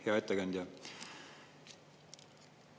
Hea ettekandja!